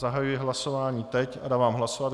Zahajuji hlasování teď a dávám hlasovat.